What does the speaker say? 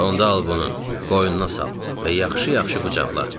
"Onda al bunu, qoynuna sal və yaxşı-yaxşı qucaqla."